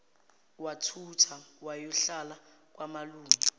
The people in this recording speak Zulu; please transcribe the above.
wathutha wayohlala kwamalume